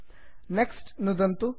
next next नुदन्तु